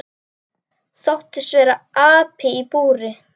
Þóttist vera api í búri.